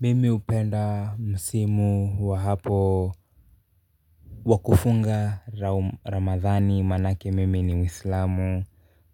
Mimi hupenda msimu wa hapo wakufunga Ramadhani maanake mimi ni mwislamu.